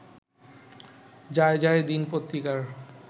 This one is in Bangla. যায়যায় দিন পত্রিকার